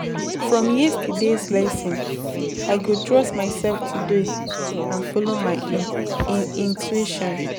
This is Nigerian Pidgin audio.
From yesterday’s lesson, I go trust myself today and follow my intuition.